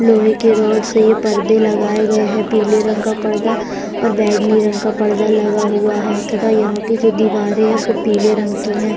लोहे के रोड से ये पर्दे लगाए गए हैं पीले रंग का पर्दा और बैंगनी रंग का पर्दा लगा हुआ है तथा यहाँ की जो दीवारें हैं वो पीले रंग की हैं।